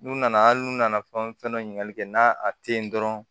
N'u nana hali n'u nana fɛn fɛn ɲininkali kɛ n'a tɛ ye dɔrɔn